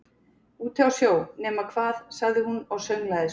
Úti á sjó, nema hvað- sagði hún og sönglaði svo